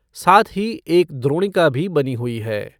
साथ ही एक द्रोणिका भी बनी हुई है।